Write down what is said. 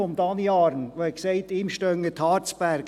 Daniel Arn hat argumentiert, ihm stünden die Haare zu Berge.